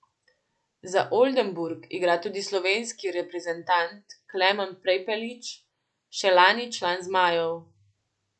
Za Oldenburg igra tudi slovenski reprezentant Klemen Prepelič, še lani član zmajev.